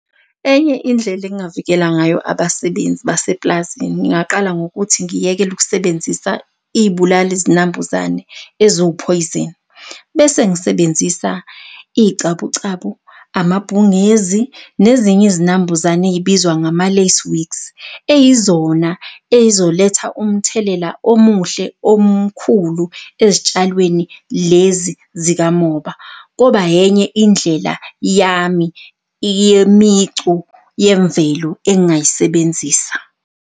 Enye indlela engingavikela ngayo abasebenzi baseplazini ngingaqala ngokuthi ngiyekele ukusebenzisa iy'bulali-zinambuzane eziwuphoyizeni. Bese ngisebenzisa iy'cabucabu, amabhungezi nezinye izinambuzane ey'bizwa ngama-lace wings, eyizona ey'zoletha umthelela omuhle omkhulu eztshalweni lezi zikamoba, koba yenye indlela yami yemicu yemvelo engayisebenzisa.